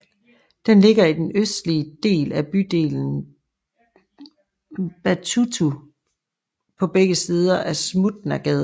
Den ligger i den østlige del af bydelen Bałuty på begge sider af Smutnagade